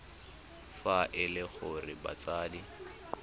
fa e le gore batsadi